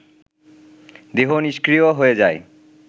দেহ নিষ্ক্রিয় হয়ে যায়